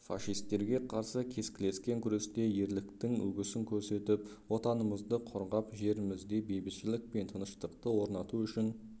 фашистерге қарсы кескілескен күресте ерліктің үлгісін көрсетіп отанымызды қорғап жерімізде бейбітшілік пен тыныштықты орнату үшін